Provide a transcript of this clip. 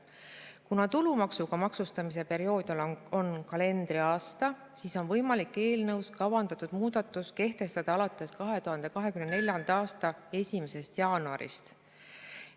Kuna tulumaksuga maksustamise periood on kalendriaasta, siis on võimalik eelnõus kavandatud muudatus kehtestada alates 2024. aasta 1. jaanuarist.